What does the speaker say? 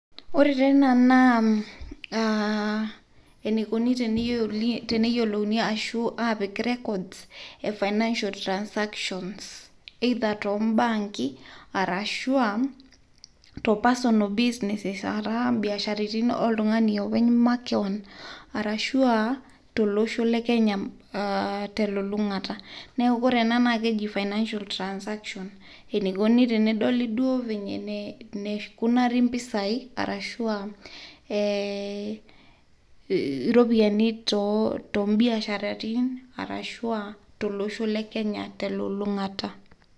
Ore teina naa enikuni teneyolouni ashu apik records e financial transactions either to mbanki arashu a to personal business ataa biashraitin oltung'ani openy makeon arashu a tolosho le Kenya te lulung'ata. Neeku kore ena naake eji financial transaction, enikuni tenedoli duo venye nikunira mpisai arashu ee a iropiani to mbiasharatin arashu a tolosho le Kenya te lulung'ata.